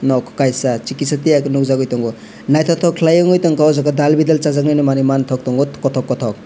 nog kaisa si kisa tiya ke nogjagoi tango naitotok kelai nogoitango ojagao dal bola sajaknai manui mantok tango katok katok.